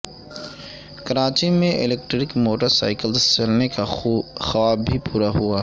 کراچی میں electric motor cycles چلنے کا خواب بھی پورا ہوا